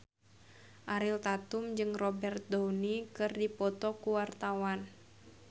Ariel Tatum jeung Robert Downey keur dipoto ku wartawan